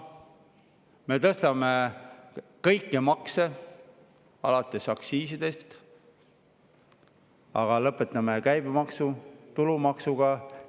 Me tõstame kõiki makse, alates aktsiisidest, lõpetades käibemaksu ja tulumaksuga.